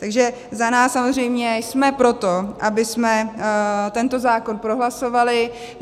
Takže za nás, samozřejmě jsme pro to, abychom tento zákon prohlasovali.